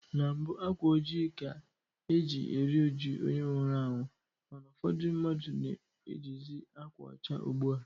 Na mbụ, akwa ojii ka e ji eri ụjụ onye nwụrụ anwụ mana ụfọdụ mmadụ na-ejizi akwa ọcha ugbu a.